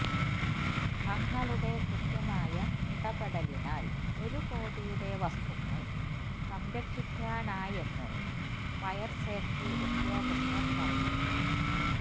തങ്ങളുടെ കൃത്യമായ ഇടപെടലിനാൽ ഒരു കോടിയുടെ വസ്തുക്കൾ സംരക്ഷിക്കാനായെന്ന് ഫയർസേഫ്റ്റി ഉദ്യോഗസ്ഥർ പറഞ്ഞു